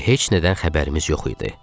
Elə bil heç nədən xəbərimiz yox idi.